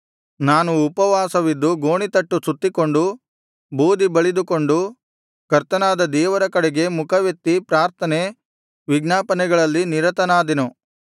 ನಾನು ಉಪವಾಸವಿದ್ದು ಗೋಣಿತಟ್ಟು ಸುತ್ತಿಕೊಂಡು ಬೂದಿ ಬಳಿದುಕೊಂಡು ಕರ್ತನಾದ ದೇವರ ಕಡೆಗೆ ಮುಖವೆತ್ತಿ ಪ್ರಾರ್ಥನೆ ವಿಜ್ಞಾಪನೆಗಳಲ್ಲಿ ನಿರತನಾದೆನು